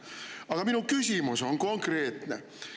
Aga minu küsimus on konkreetne.